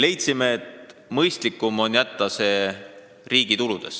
Leidsime, et mõistlikum oleks jätta see riigi tuludesse.